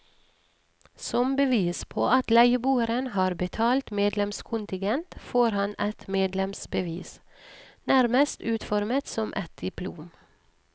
Som bevis på at leieboeren har betalt medlemskontingent, får han et medlemsbevis, nærmest utformet som et diplom.